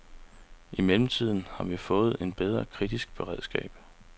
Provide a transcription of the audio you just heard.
I mellemtiden har vi fået et bedre kritisk beredskab.